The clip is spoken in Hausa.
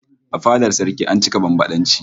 A fadar saraki an cika bambadanci